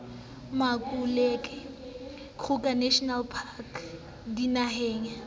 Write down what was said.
makuleke kruger national park dinaheng